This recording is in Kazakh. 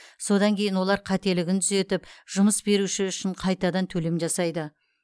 содан кейін олар қателігін түзетіп жұмыс беруші үшін қайтадан төлем жасайды